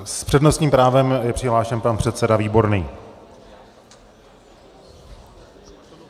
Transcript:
S přednostním právem je přihlášen pan předseda Výborný.